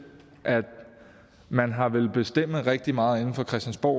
at man har villet bestemme rigtig meget inde fra christiansborg